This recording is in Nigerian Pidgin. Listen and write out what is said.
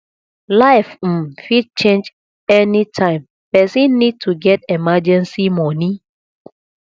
life um fit change anytime person need to get emergency money